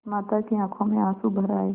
माता की आँखों में आँसू भर आये